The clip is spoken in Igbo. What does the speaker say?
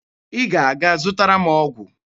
Ị ga-aga zụtara m ọgwụ.